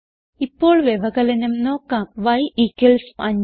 ഇപ്പോൾ വ്യവകലനം നോക്കാം y 5